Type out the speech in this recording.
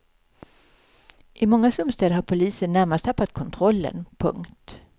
I många slumstäder har polisen närmast tappat kontrollen. punkt